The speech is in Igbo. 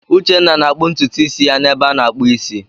Uche na-akpụ ntutu isi ya n'ebe a na-akpụ isi.